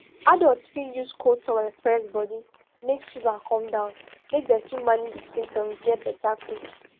adults fit use cold towel press body make fever come down make dem fit manage di symptoms get beta quick